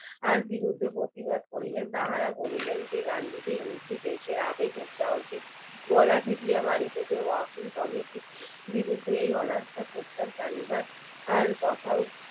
তার বিরুদ্ধে প্রতিবাদ করিলেন তাহারা বলিলেন যে গান্ধী জি এমনিতেই দেশের আবেগ উৎসাহ কে গলা টিপিয়া মাড়িতে চে এবং working comity র বিরুদ্ধে এই অনাস্থার প্রস্তাব রাখিবার কোথাও